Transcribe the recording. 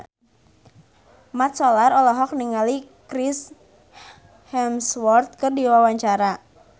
Mat Solar olohok ningali Chris Hemsworth keur diwawancara